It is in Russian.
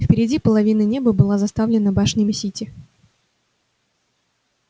впереди половина неба была заставлена башнями сити